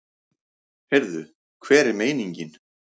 Heyrðu, hver er meiningin?